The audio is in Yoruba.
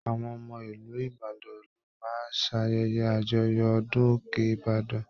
Àwọn ọmọ ìlú Ìbàdàn lọ máa ṣ'ayẹyẹ àjọyọ̀ ọdún òkè ìbàdàn.